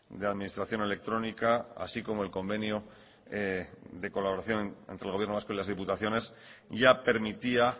de administración electrónica así como el convenio de colaboración entre el gobierno vasco y las diputaciones ya permitía